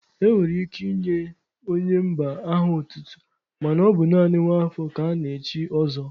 E nwere ike inye onye mba aha otutu mana ọ bụ naanị nwa afọ ka ana-echi ọzọ.